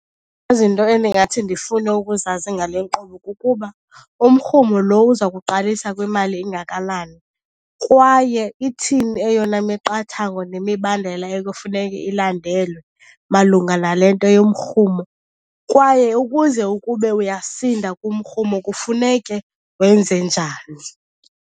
Izinto endingathi ndifune ukuzazi ngale nkqubo kukuba, umrhumo lo uza kuqalisa kwimali engakanani kwaye ithini eyona miqathango nemibandela ekufuneke ilandelwe malunga nale nto yomrhumo? Kwaye ukuze ukube uyasinda kumrhumo kufuneke wenze njani?